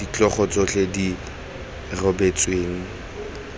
ditlhogo tsotlhe tse di rebotsweng